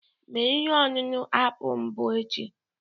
Mee ihe ọṅụṅụ apụl mbụ echi